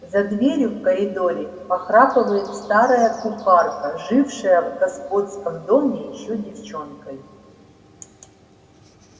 за дверью в коридоре похрапывает старая кухарка жившая в господском доме ещё девчонкой